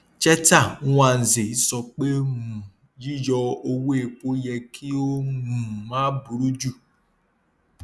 cheta nwanze sọ pé um yíyọ owó epo yẹ kí ó um má buru ju